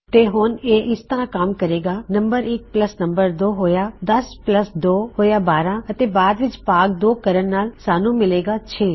ਤੈਂ ਹੁਣ ਇਹ ਇਸ ਤਰਹ ਕਮ ਕਰੇਗਾ ਨੰਮ1 ਪੱਲਸ ਨੰਮ2 ਹੋਇਆ 10 ਪੱਲਸ 2 ਹੋਇਆ 12 ਅਤੇ ਬਾਦ ਵਿੱਚ ਭਾਗ 2 ਕਰਨ ਨਾਲ ਸਾੱਨ੍ਹੂ ਮਿਲੇਗਾ 6